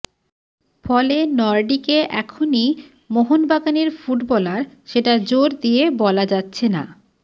ফলে নর্ডিকে এখনই মোহনবাগানের ফুটবলার সেটা জোর দিয়ে বলা যাচ্ছে না